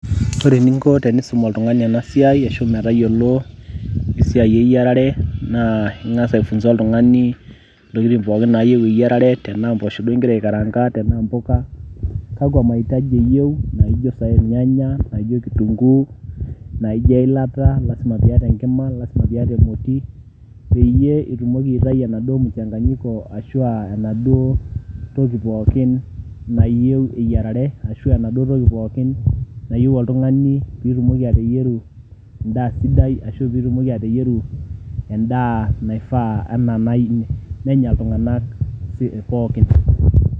Ore eninko tenisum oltung'ani ena siai ashu metayolo esiai eyiarare naa ing'asa aifunza oltung'ani ntokitin pooikin naayeu eyiarare, tenaa mboosho duo igira aikaranka, tenaa mbuka, kakwa mahitaji iyeu naijo saai irnyanya, naijo kitunguu, naijo eilata, lazima piyata eilata, lazima piyata emoti peyie itumoki aitayu oladuo muchanganyiko arashu enaduo toki pookin nayeu eyarare, ashu enaduo toki pookin nayeu oltung'ani piitumoki ateyeru endaa sidai, ashu piitumoki ateyeru endaa naifaa ena nai nenya iltung'anak pookin.